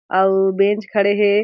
अउ बेंच खड़े हे।